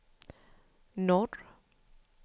norr